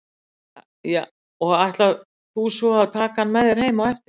Birta: Og ætlar þú svo að taka hann með þér heim á eftir?